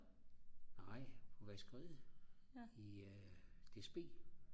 nej på vaskeriet i DSB